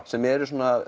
sem eru